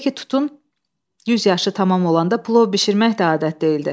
Necə ki tutun 100 yaşı tamam olanda plov bişirmək də adət deyildi.